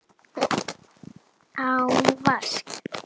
Án vasks.